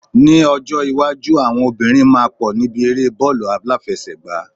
Ni ọjọ iwájú, àwọn obìnrin máa pọ̀ níbi eré bọọlu aláfẹsẹ̀gá